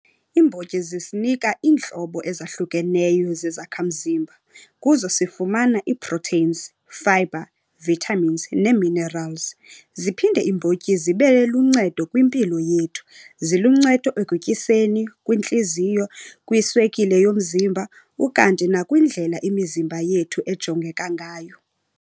Iimbotyi zisinika iintlobo ezahlukeneyo zezakhamzimba. Kuzo sifumana ii-proteins, fibre, vitamins nee-minerals. Ziphinde iimbotyi zibe luncedo kwimpilo yethu. Ziluncedo ekutyiseni, kwintliziyo, kwiswekile yomzimba, ukanti nakwindlela imizimba yethu ejongeka ngayo.